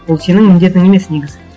ол сенің міндетің емес негізі